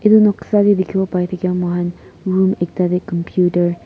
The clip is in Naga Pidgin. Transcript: edu noksa de dikhiwo pai thake moikhan room ekta de computer --